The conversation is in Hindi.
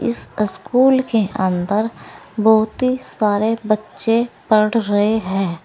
स्कूल के अंदर बहुत ही सारे बच्चे पढ़ रहे हैं।